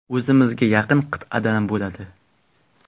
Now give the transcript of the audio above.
O‘zimizga yaqin qit’adan bo‘ladi.